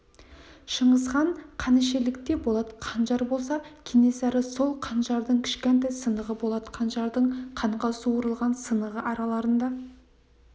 шыңғысхан қанішерлікте болат қанжар болса кенесары сол қанжардың кішкентай сынығы болат қанжардың қанға суарылған сынығы араларында